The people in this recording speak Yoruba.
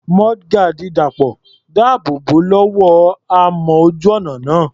Mudguard Dàpọ̀ dáàbò bò ó lọ́wọ́ amọ̀ ojú ọ̀nà náà.